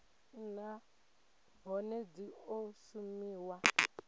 nha nahone dzi o shumiwa